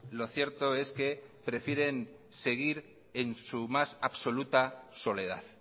lo cierto es que prefieren seguir en su más absoluta soledad